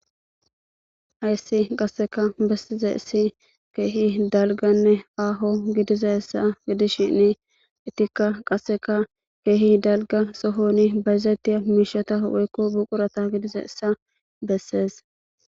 Hayssi qasseka bessize issi keehi dalganne aaho gidiza essa gidishinni ittikka qasseka keehi dalga sohoni bayzettiya miishata woykko buqurata gidiza essa bessees.